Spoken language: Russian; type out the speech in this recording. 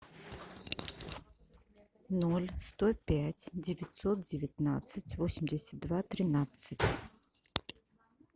ноль сто пять девятьсот девятнадцать восемьдесят два тринадцать